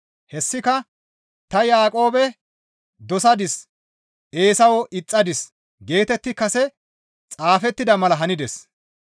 Hessika, «Ta Yaaqoobe dosadis; Eesawe ixxadis» geetetti kase xaafettida mala hanides.